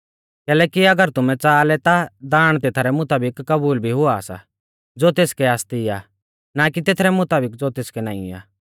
कैलैकि अगर तुमै च़ाहा लै ता दाण तेथरै मुताबिक कबूल भी हुआ सा ज़ो तेसकै आसती आ ना कि तेथरै मुताबिक ज़ो तेसकै नाईं आ